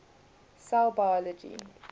cell biology